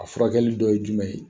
A furakɛli dɔ ye jumɛn ye?